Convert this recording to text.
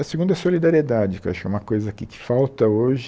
A segunda é a solidariedade, que acho que é uma coisa que falta hoje.